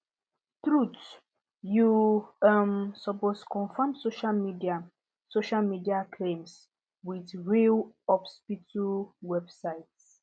truth you um supoosed confirm social media social media claims with real hospital websites